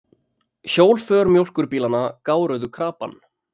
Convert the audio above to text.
Hjólför mjólkurbílanna gáruðu krapann.